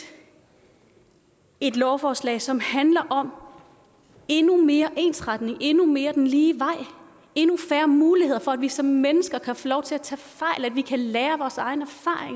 et lovforslag som handler om endnu mere ensretning endnu mere den lige vej endnu færre muligheder for at vi som mennesker kan få lov til at tage fejl at vi kan lære af vores egne